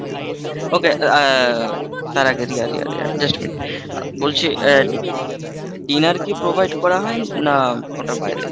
Okay, ah Riya Riya Riya রিয়া রিয়া just a minute, বলছি dinner কি provide করা হয় না ওটার বাইরে?